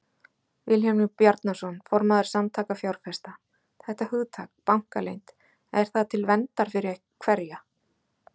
Vilhjálmur Bjarnason, formaður Samtaka fjárfesta: Þetta hugtak, bankaleynd, er það til verndar fyrir hverja?